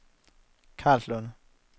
Karlslunde